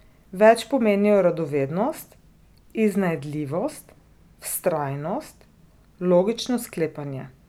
Več pomenijo radovednost, iznajdljivost, vztrajnost, logično sklepanje.